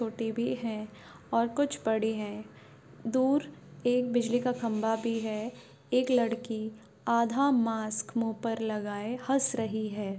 भी है और कुछ पड़ी है दूर एक बिजली का खम्बा भी है एक लड़की आधा मास्क मुँह पर लगाए हंस रही है।